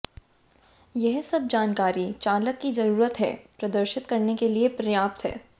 यह सब जानकारी चालक की जरूरत है प्रदर्शित करने के लिए पर्याप्त है